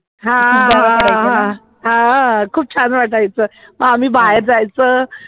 हा हा हा हा हा ह हा हा ह खुप छान वाटायचं आम्ही बाहेर जायचं